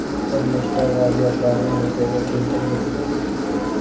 Bir nechta vaziyatlarni yuzaga keltirdik.